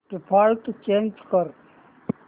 default change कर